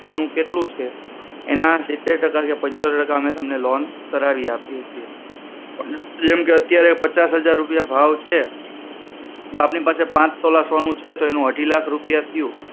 સોનુ કેટલું છે એના સિતેર ટકા કે પંચોતેર ટકા જેટલી loan કરાવી આપીએ છીએ જેમકે અત્યારે પચાસ હજાર રૂપિયા ભાવ છે તો આપણી પાસે પાંચ તોલા સોનુ છે તો એનું અઢી લાખ રૂપિયા થયો